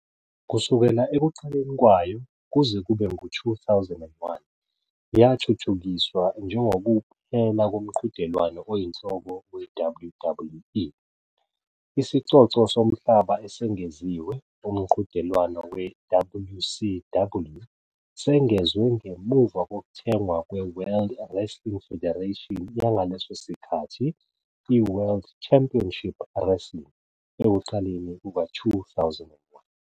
Kusukela ekuqaleni kwayo kuze kube ngu-2001, yathuthukiswa njengokuphela komqhudelwano oyinhloko we-WWE. Isicoco somhlaba esengeziwe, uMqhudelwano we-WCW, sengezwe ngemuva kokuthengwa kweWorld Wrestling Federation yangaleso sikhathi i- World Championship Wrestling ekuqaleni kuka-2001.